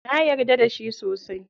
Na yarda da shi sosai.